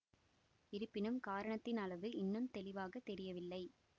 இருப்பினும் காரணத்தின் அளவு இன்னும் தெளிவாக தெரியவில்லை